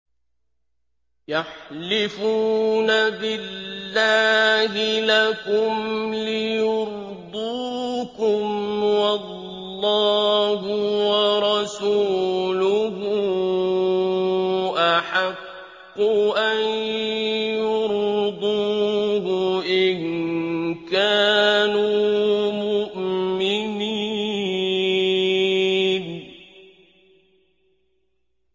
يَحْلِفُونَ بِاللَّهِ لَكُمْ لِيُرْضُوكُمْ وَاللَّهُ وَرَسُولُهُ أَحَقُّ أَن يُرْضُوهُ إِن كَانُوا مُؤْمِنِينَ